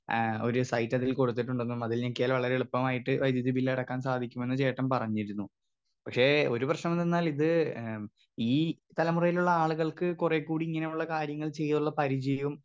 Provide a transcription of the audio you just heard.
Speaker 2 ഏ ഒരു സൈറ്റതിൽ കൊടുത്തിട്ടുണ്ടെന്നും അതിൽ ഞെക്കിയാൽ വളരെ എളുപ്പമായിട്ട് വൈദ്യുതി ബില്ലടയ്ക്കാൻ സാധിക്കുമെന്നും ചേട്ടൻ പറഞ്ഞിരുന്നു. പക്ഷെ ഒരു പ്രശ്നം എന്തെന്നാൽ ഇത് ഏ ഈ തലമുറയിലുള്ള ആളുകൾക്ക് കൊറേ കൂടി ഇങ്ങനുള്ള കാര്യങ്ങൾ ചെയ്തുള്ള പരിചയോം.